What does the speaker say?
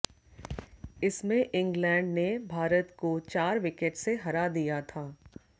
इसमें इंग्लैंड ने भारत को चार विकेट से हराया दिया था